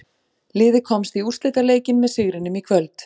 Liðið komst í úrslitaleikinn með sigrinum í kvöld.